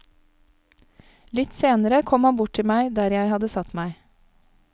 Litt senere kom han bort til meg der jeg hadde satt meg.